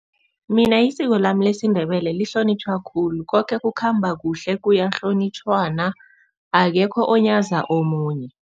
Mina yisiko lami lesiNdebele lihlonitjhwa khulu. Koke kukhamba kuhle kuyahlonitjhwana, akekho onyaza omunye.